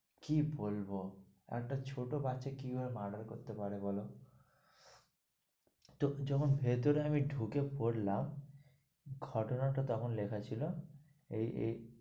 কি বলবো? একটা ছোট বাচ্চা কি ভাবে murder করতে পারে বলো? তো যখন ভেতরে ঢুকে পড়লাম, ঘটনা টা তখন লেখা ছিল এই এই,